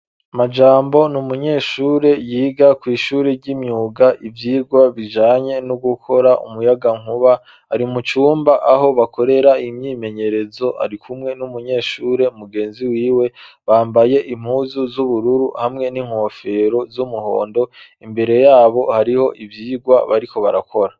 Majambo n'umunyeshure yiga kw'ishure ry'imyuga ivyigwa bijanye no gukora umuyaga nkuba ari mu cumba aho bakorera imyimenyerezo ari kumwe n'umunyeshure mugenzi wiwe bambaye impuzu z'ubururu hamwe n'inkofero z'umuhondo, imbere yabo hariho ivyigwa bariko barakora.